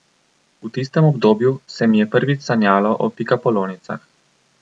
V tistem obdobju se mi je prvič sanjalo o pikapolonicah.